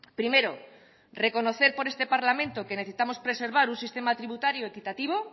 primero reconocer por este parlamento que necesitamos preservar un sistema tributario equitativo